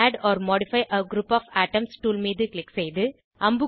add or modify a group of items tool மீது click செயது